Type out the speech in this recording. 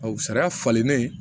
sariya falennen